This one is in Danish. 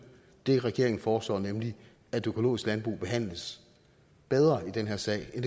det regeringen foreslår nemlig at det økologiske landbrug behandles bedre i den her sag end